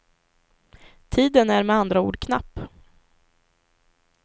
Tiden är med andra ord knapp.